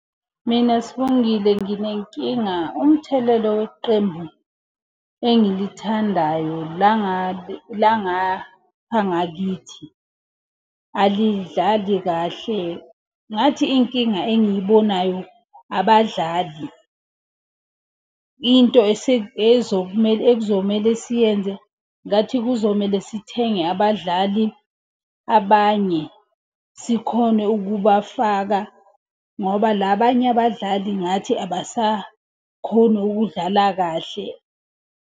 Mina Sibongile nginenkinga umthelelo weqembu engilithandayo la ngakithi, alidlali kahle. Ngathi inkinga engiyibonayo abadlali. Into ekuzomele siyenze, ngathi kuzomele sithenge abadlali abanye, sikhone ukubafaka. Ngoba la banye abadlali ngathi abasakhoni ukudlala kahle.